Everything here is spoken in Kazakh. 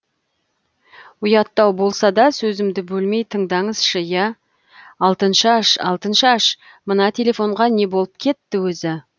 ұяттау болса да сөзімді бөлмей тыңдаңызшы иә алтыншаш алтыншаш мына телефонға не болып кетті өзі